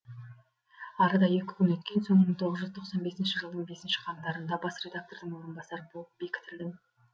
арада екі күн өткен соң мың тоғыз жүз тоқсан бесінші жылдың бесінші қаңтарында бас редактордың орынбасары болып бекітілдім